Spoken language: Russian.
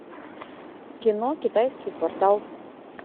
кино китайский квартал